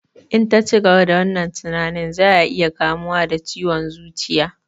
In ta cigaba da wannan tinanin za ya iya kamuwa da ciwon zuciya